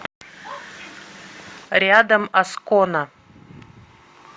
рядом аскона